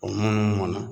O munumunu